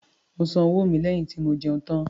Mo san owó mi lẹ́yìn tí mo jẹun tán